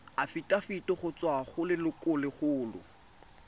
afitafiti go tswa go lelokolegolo